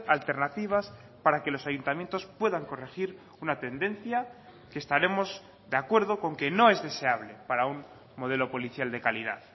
alternativas para que los ayuntamientos puedan corregir una tendencia que estaremos de acuerdo con que no es deseable para un modelo policial de calidad